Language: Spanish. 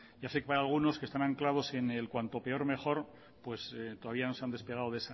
ya sé que para algunos que están anclados en el cuanto peor mejor pues todavía no se han despegado